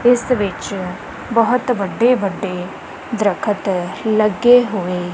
ਇੱਸ ਵਿੱਚ ਬੋਹੁਤ ਵੱਡੇ ਵੱਡੇ ਦ੍ਰਖਤ ਲੱਗੇ ਹੋਏ।